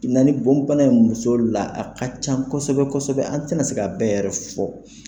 Na ni bɔn bana ye muso la, a ka ca kosɛbɛ kosɛbɛ, an tɛna se ka a bɛɛ yɛrɛ fɔ.